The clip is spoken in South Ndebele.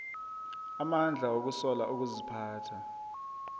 amandla wokusola ukuziphatha